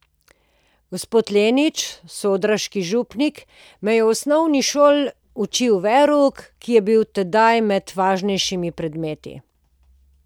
Gospod Lenič, sodraški župnik, me je v osnovni šoli učil verouk, ki je bil tedaj med važnejšimi predmeti.